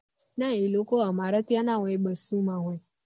ના એ લોકો અમારા ત્યાં ના હોય એ માં હોય